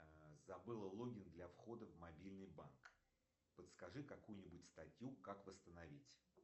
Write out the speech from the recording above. забыла логин для входа в мобильный банк подскажи какую нибудь статью как восстановить